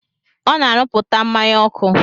Ọ na-arụpụta mmanya ọkụ.